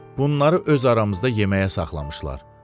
bunları öz aramızda yeməyə saxlamışdılar.